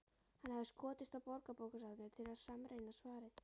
Hann hafði skotist á Borgarbókasafnið til að sannreyna svarið.